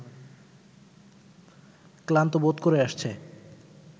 ক্লান্ত বোধ করে আসছে